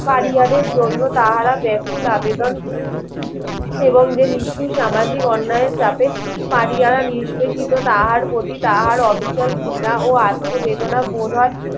পারিয়াদের জন্য তাহারা ব্যাকুল আবেদন এবং যে নিস্তু সামাজিক অন্যায়ের চাপে পরিহার নিষ্পেষিত তাহার প্রতি তাহার অবিচার ঘৃণা ও আত্ম বেদনা বোধ হয়